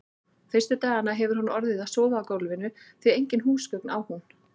Fyrstu dagana hefur hún orðið að sofa á gólfinu, því engin húsgögn á hún.